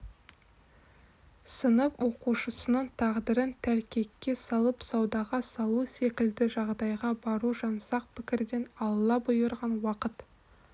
сынып оқушысының тағдырын тәлкекке салып саудаға салу секілді жағдайға бару жаңсақ пікірден алла бұйырған уақыт